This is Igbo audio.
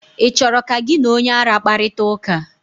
ị chọrọ ka gị na onye ara kparịta ụka?